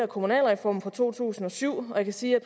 kommunalreformen fra to tusind og syv og jeg kan sige at